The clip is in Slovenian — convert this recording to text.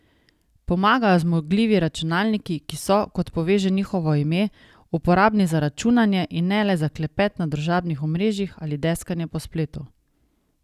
Pomagajo zmogljivi računalniki, ki so, kot pove že njihovo ime, uporabni za računanje, in ne le za klepet na družbenih omrežjih ali deskanje po spletu.